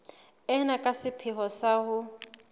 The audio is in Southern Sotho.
ena ka sepheo sa ho